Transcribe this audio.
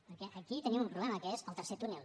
perquè aquí tenim un problema que és el tercer túnel